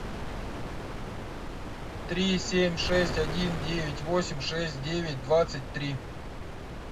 три семь шесть один девять восемь шесть девять двадцать три